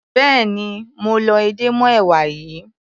Béèni mo lọ edé mọ́ èwà yìí.